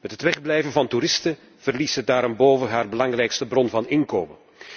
Met het wegblijven van toeristen verliest ze daarenboven haar belangrijkste bron van inkomsten.